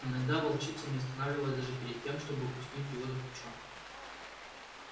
иногда волчица не останавливалась даже перед тем чтобы куснуть его за плечо